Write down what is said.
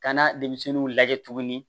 Ka na denmisɛnninw lajɛ tuguni